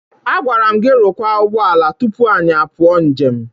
Agwara m gị rụkwa ụgbọala tupu anyị apụọ njem!